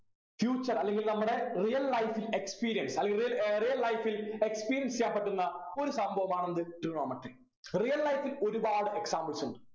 future അല്ലെങ്കിൽ നമ്മുടെ real life experience അല്ലെങ്കിൽ ഏർ real life ൽ experience ചെയ്യാൻ പറ്റുന്ന ഒരു സംഭവമാണ് എന്ത് trigonometry real life ൽ ഒരുപാട് examples ഉണ്ട്